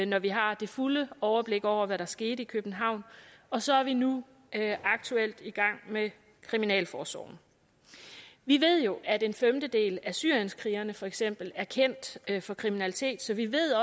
når vi har det fulde overblik over hvad der skete i københavn og så er vi nu aktuelt i gang med kriminalforsorgen vi ved jo at en femtedel af syrienskrigerne for eksempel er kendt for kriminalitet så vi ved